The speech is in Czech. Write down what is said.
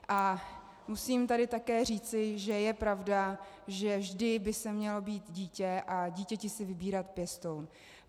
A musím tady také říci, že je pravda, že vždy by se měl (?) být dítě a dítě si vybírat pěstoun.